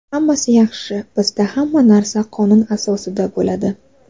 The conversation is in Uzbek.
Hammasi yaxshi, bizda hamma narsa qonun asosida bo‘ladi”.